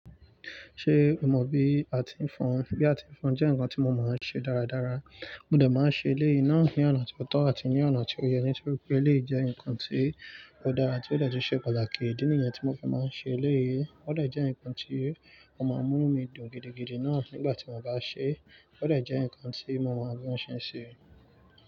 Ṣé o mọ bí a ti ń fọn? Bí a ti ń fọn jẹ́ nǹkan tí mo máa ń ṣe dáradára. Mo dà máa ń ṣe eléyìí náà ní ọ̀nà tó tọ́ àti ní ọ̀nà tó yẹ ní nítorí pé eléyìí jẹ́ nǹkan tí ó dára àti ó dà tun ṣẹ́ pàtàkì ìdí nìyẹn tí mo fi máa ń ṣe eléyìí. Ó dà jẹ́ nǹkan tí ó máa ń mú nu mí dùn gidigidi náà nígbà tí mo bá ṣe é. Ó dà jẹ́ nǹkan tí mo máa bi ọ̀n ṣẹ́ ṣe.